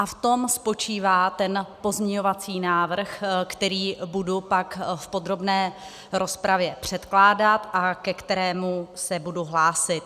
A v tom spočívá ten pozměňovací návrh, který budu pak v podrobné rozpravě předkládat a ke kterému se budu hlásit.